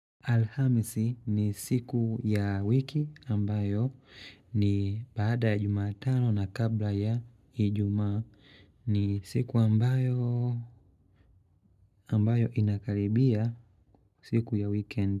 Alhamisi ni siku ya wiki ambayo ni baada jumatano na kabla ya ijumaa ni siku ambayo ambayo inakaribia siku ya weekend.